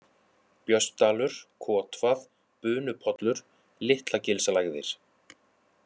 Björnsdalur, Kotvað, Bunupollur, Litlagilslægðir